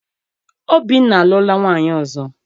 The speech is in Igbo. Obinna alụọla nwaanyị ọzọ.